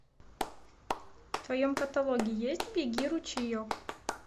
в твоем каталоге есть беги ручеек